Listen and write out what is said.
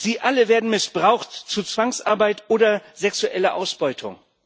Sie alle werden missbraucht zu Zwangsarbeit oder sexueller Ausbeutung.